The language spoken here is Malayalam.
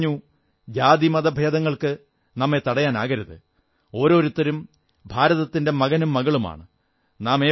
അദ്ദേഹം പറഞ്ഞു ജാതിമതഭേദങ്ങൾക്ക് നമ്മെ തടയാനാകരുത് ഓരോരുത്തരും ഭാരതത്തിന്റെ മകനും മകളുമാണ്